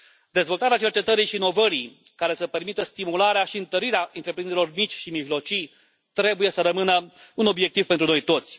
Dezvoltarea cercetării și inovării, care să permită stimularea și întărirea întreprinderilor mici și mijlocii, trebuie să rămână un obiectiv pentru noi toți.